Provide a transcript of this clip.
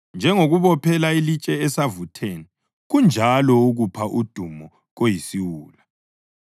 Njengokubophela ilitshe esavutheni kunjalo ukupha udumo koyisiwula.